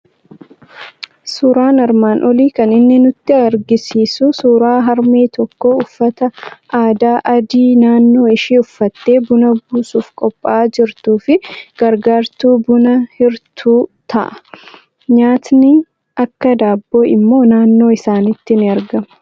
Suuraan armaan olii kan inni nutti argisiisu suuraa harmee tokko uffata aadaa adii naannoo ishii uffattee buna buusuuf qophaa'aa jirtuu fi gargaartuu buna hirtuu ta'a. Nyaatni akka daabboo immoo naannoo isaaniitti ni argama.